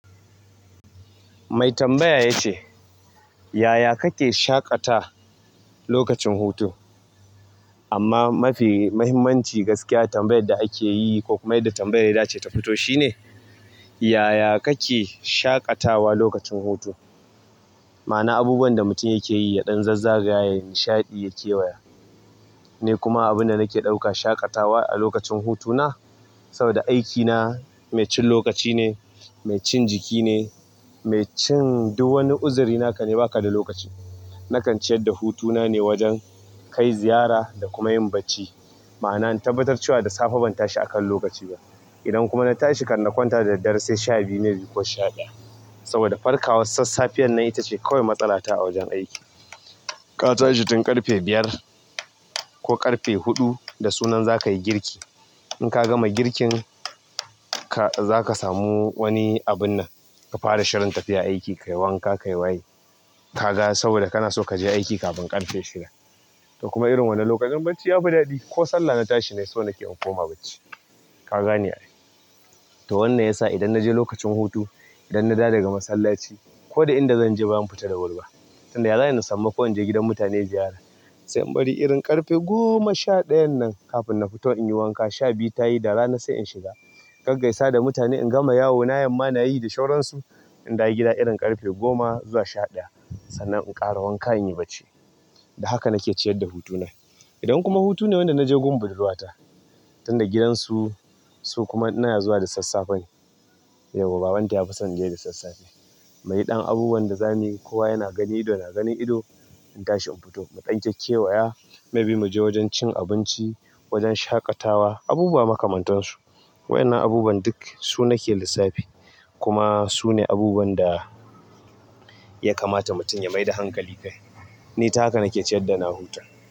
Mai tambaya ya ce, "Yaya kake shaƙata lokacin hutu?" Amma mafi muhimmanci gaskiya tambayar da ake yi ko kuma idan tambayar da za ta fito shine, yaya kake shaƙatawa lokacin hutu? Ma'ana abubuwan da mutum yake yi, ya ɗan zazza gaya yai nishaɗi, ya kewaya. Ni kuma abin da nake ɗauka shaƙatawa a lokacin hutuna saboda aikina mai cin lokaci ne, mai cin jiki ne, mai cin duk wani uzuri naka ne baka da lokaci. Nakan ciyar da hutuna ne wajen kai ziyara da kuma yin bacci. Ma'ana in tabbatar cewa da safe ban tashi akan lokaci ba. Idan kuma na tashi, kan na kwanta da daddare sai sha biyu, mai bi ko sha ɗaya. Saboda farkawars assafiyar nan ita ce kawai matsala ta a wajen aiki. Ka tashi tun ƙarfe biyar ko ƙarfe huɗu da sunan za ka yi girki. In ka gama girkin, ka-- za ka samu wani abun nan ka fara shirin tafiya aiki, ka yi wanka, ka yi waye. Ka ga saboda kana so ka je aiki kafin ƙarfe shida. To kuma irin wannan lokutan bacci ya fi daɗi ko sallah na tashi ni so nake inko ma bacci. Ka gane a ai. To wannan yasa idan naje lokacin hutu idan na dawo daga masallaci koda inda zanje bazan fita da wuti ba, sai in bari sai irin ƙarfe goma sha ɗayan nan kafin na fita inyi wanka sha biyu tayi da rana sai in shiga. A gaggaisa da mutane in gama yawo na yamma na yi da shauran su. In dawo gida irin ƙarfe goma ko sha ɗaya, sannan in dawo gida inyi bacci da haka nake ciyar da hutuna. Idan kuma hutu ne wanda na je gun budurwa ta, tunda gidansu su kuma na zuwa da sassafe, babanta ya fi son je da sassafe. Muyi ɗan abubuwan da zamuyi kowa yana gani ido na gani ido, in tashi in fito mu ɗan keke waya, maybe mu je wajen cin abinci, wajen shaƙatawa, abubuwa makamantansu. Waƴannan abubuwan duk su nake lissafi kuma sune abubuwan da ya kamata mutum ya mai da hankali akai. Ni ta haka nake ciyar da na huta.